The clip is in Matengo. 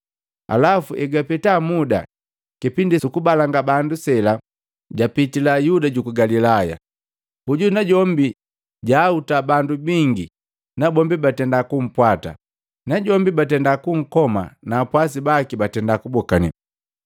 Alafu hegwapeta muda, kipindi suku balanga bandu sela, japitila Yuda juku Galilaya. Hoju najombi jaahuta bandu bingi nabombi batenda kumpwata, najombi batendaa kunkoma na apwasi baki batenda kubokane.